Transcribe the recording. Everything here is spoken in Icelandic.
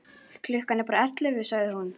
Klukkan er bara ellefu, sagði hún.